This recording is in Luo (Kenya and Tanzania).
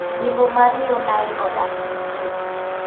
Yimbo mar yo Nile odak gi kue.